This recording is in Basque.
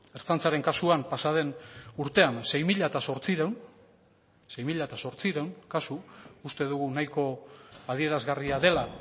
ertzaintzaren kasuan pasa den urtean sei mila zortziehun kasu uste dugu nahiko adierazgarria dela